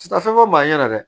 Ti taa fɛn fɔ maa ɲɛna dɛ